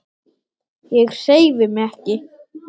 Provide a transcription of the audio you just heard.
Ég hreyfi mig ekki.